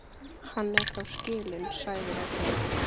Hann er þá skilinn, sagði Ragnhildur.